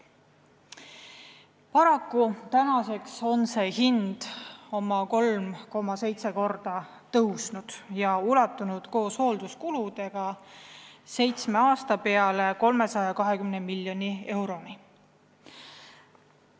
Paraku on tänaseks see hind oma 3,7 korda tõusnud ja ulatub koos hoolduskuludega seitsme aasta peale 320 miljoni euroni.